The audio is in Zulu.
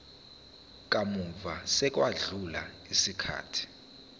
kamuva sekwedlule isikhathi